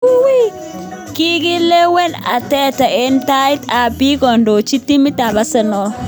Kikilewen Arteta eng tait ab biik kondochi timit ab Arsenal.